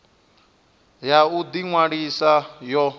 ya u ḓi ṅwalisa yo